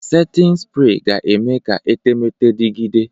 Setin sprey ga-eme ka etemeete dịgide.